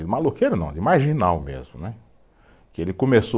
De maloqueiro não, de marginal mesmo, né, que ele começou